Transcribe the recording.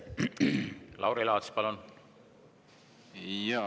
Lauri Laats, palun!